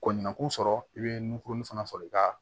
Ko ɲinaku sɔrɔ i be nunkuruni fana sɔrɔ i ka